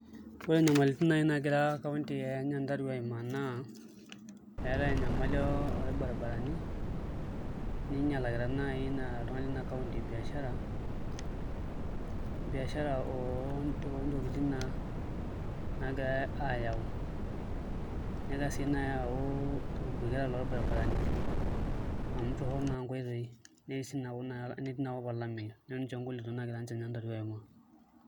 Ore nyamalitin naai naagira kaunti e Nyandarua aiimaa naa eetai enyamali orbaribarani ninyilakita naai ina iltung'anak lina kaunti biashara, biashara oontokitin naa naagirai aayau nitoki sii naai aaku eetai irbuketa lorbaribarani amu torrono naa nkoitoi netii inakop olameyu ninche ngolikinot naagira kaunti e Nyandarua aimaa.